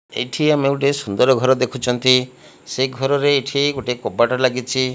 ଏଇଠି ଆମେ ଗୋଟେ ସୁନ୍ଦର୍ ଘର ଦେଖୁଛନ୍ତି ସେଇ ଘରରେ ଏଇଠି ଗୋଟେ କବାଟ ଲାଗିଚି।